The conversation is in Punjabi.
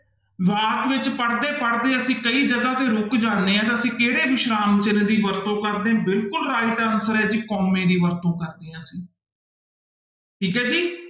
ਵਾਕ ਵਿੱਚ ਪੜ੍ਹਦੇ ਪੜ੍ਹਦੇ ਅਸੀਂ ਕਈ ਜਗ੍ਹਾ ਤੇ ਰੁਕ ਜਾਂਦੇ ਹਾਂ ਤਾਂ ਅਸੀਂ ਕਿਹੜੇ ਵਿਸ਼ਰਾਮ ਚਿੰਨ੍ਹ ਦੀ ਵਰਤੋਂ ਕਰਦੇ ਹਾਂ, ਬਿਲਕੁਲ right answer ਹੈ ਜੀ ਕੋਮੇ ਦੀ ਵਰਤੋਂ ਕਰਦੇ ਹਾਂ ਅਸੀਂ ਠੀਕ ਹੈ ਜੀ।